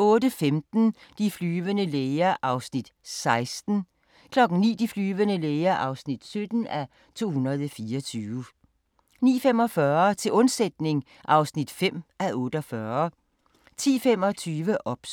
08:15: De flyvende læger (16:224) 09:00: De flyvende læger (17:224) 09:45: Til undsætning (5:48) 10:25: OBS